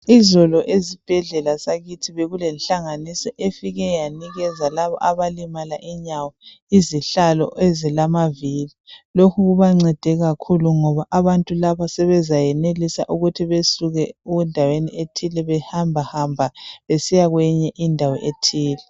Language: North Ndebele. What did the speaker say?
Izolo ezibhedlela zakithi bekulenhlanganiso e-file yanika labo abalimala inyawo izihlalo ezilamavili. Lokhu kubancede kakhulu ngabo abantu laba sebezayenelisa ukuthi besuke endaweni ethile bahambahambe besiya endaweni ethile.